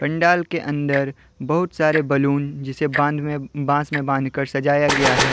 पंडाल के अंदर बहुत सारे बलून जिसे बान बांस में बान कर सजाया गया है।